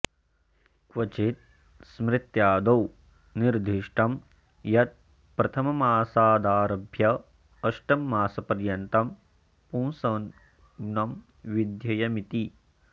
क्वचित् स्मृत्यादौ निर्दिष्टं यत् प्रथममासादारभ्य अष्टममासपर्यन्तं पुंसव्नं विध्येयमिति